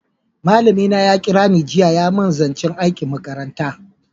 Malami na ya kira ni jiya ya mun zancen aikin makaranta